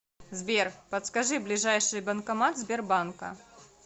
сбер подскажи ближайший банкомат сбербанка